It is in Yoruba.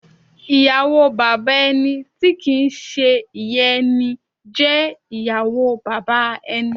Ìyàwó Bàbà ẹni tí kìí ń ṣe ìyá ẹni jẹ́ ìyàwó bàbá ẹni.